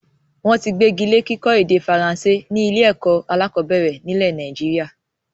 Wọn tí gbegile kíkọ́ èdè Faransé ni ilé ẹ̀kọ́ alakọ̀bẹ́ẹ́rẹ̀ nílé Nàìjíríà